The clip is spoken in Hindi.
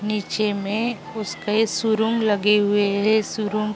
नीचे में उस के सुरुंग लगे हुए ये सुरुंग --